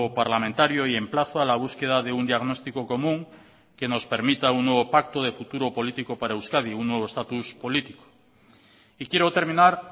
parlamentario y emplazo a la búsqueda de un diagnóstico común que nos permita un nuevo pacto de futuro político para euskadi un nuevo estatus político y quiero terminar